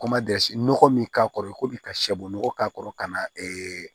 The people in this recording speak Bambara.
nɔgɔ min k'a kɔrɔ i ko bi ka sɔbunɔgɔ k'a kɔrɔ ka na